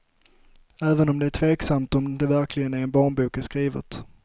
Även om det är tveksamt om det verkligen är en barnbok jag skrivit.